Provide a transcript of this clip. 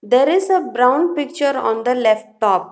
There is a brown picture on the left top.